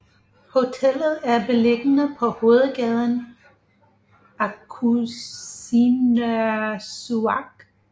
Hotellet er beliggende på hovedgaden Aqqusinersuaq